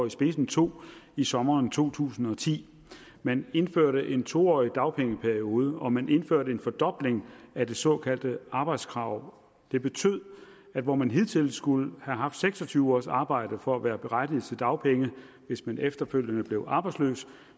i spidsen tog i sommeren to tusind og ti man indførte en to årig dagpengeperiode og man indførte en fordobling af det såkaldte arbejdskrav det betød at hvor man hidtil skulle have haft seks og tyve ugers arbejde for at være berettiget til dagpenge hvis man efterfølgende blev arbejdsløs